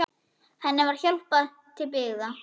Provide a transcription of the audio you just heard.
Henni var hjálpað til byggða.